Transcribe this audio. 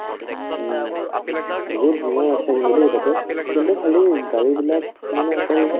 উম্, বহুত ধুনীয়া ৰাস্তা কিন্তু দেই তাতে কিন্তু খালী গাড়ীবিলাক মানে অকল